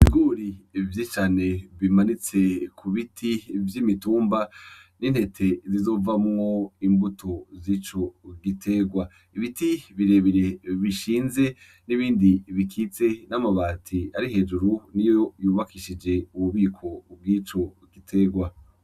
Ibiguri vy'icane bimanitse ku biti vy' imitumba n'intete zizovamwo imbuto z'ico giterwa ibiti birebire bishinze n'ibindi bikitse n'amabati ari hejuru ni yo yubakishije ububiko ubw'ico giterwa.